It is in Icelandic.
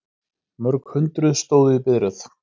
Mörg hundruð stóðu í biðröð